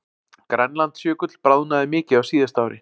Grænlandsjökull bráðnaði mikið á síðasta ári